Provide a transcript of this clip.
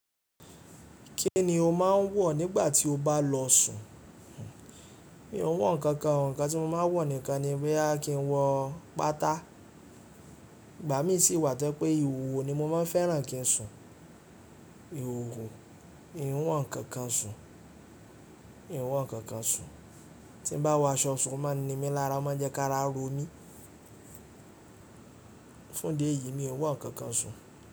Kí ni o máa ń wọ̀ nígbà tí o bá lọ sùn? Mi ò ń wọ nǹkan kan, ǹkan tí mo máa ń wọ̀ nìkan ni bí a kí n wọ pátá, ìgbà mí sì wà tó pé ìhòòhò ni mo máa ń fẹ́ràn kí ń sùn. Ìhòòhò, mi ò ń wọ nǹkan kan sùn, mi ò ń wọ nǹkan kan sùn. Tí n bá wọ aṣọ sùn, o máa ń ni mí lára, o má ń jẹ́ kí a rá ro mí. Fún idi eyìí ni mi ò ń wọ nǹkan kan sùn.